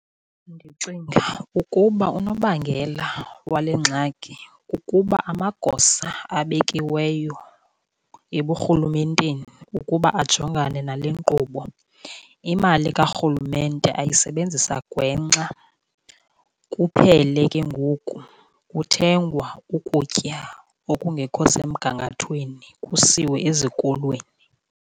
Ndicinga ukuba unobangela wale ngxaki kukuba amagosa abekiweyo eburhulumenteni ukuba ajongane nale nkqubo, imali karhulumente ayisebenzisa gwenxa. Kuphele ke ngoku kuthengwa ukutya okungekho semgangathweni kusiwe ezikolweni.